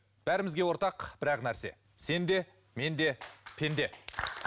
бәрімізге ортақ бір ақ нәрсе сен де мен де пенде